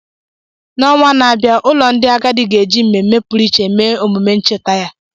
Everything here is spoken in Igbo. N’ọnwa na-abịa, ụlọ ndị agadi ga-eji mmemme pụrụ iche mee omume ncheta ya.